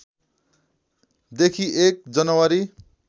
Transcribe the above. देखि १ जनवरी